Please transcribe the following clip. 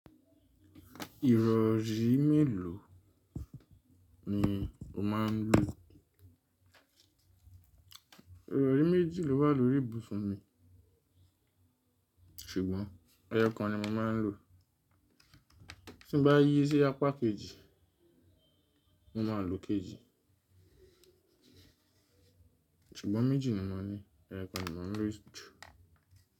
Ìrọ̀rí mélòó ni o máa ń lò? Ìrọ̀rí méjì ló wà lórí ìbùsùn mi, ṣùgbọ́n ẹyo kan ni mo máa ń lò. Tí bá yí sí apá kejì, mo ma lo kejì. Ṣùgbọ́n méjì ni mo ní, ẹyo kan ni mo ń lò jù.